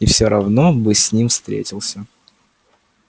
и всё равно бы с ним встретился